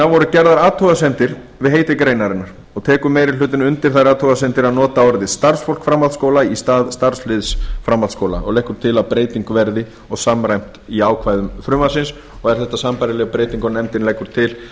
voru gerðar athugasemdir við heiti greinarinnar og tekur meiri hlutinn undir þær athugasemdir að nota orðið starfsfólk framhaldsskóla í stað starfsliðs framhaldsskóla og leggur til að breyting verði og samræmt í ákvæðum frumvarpsins og er þetta sambærileg breyting og nefndin leggur til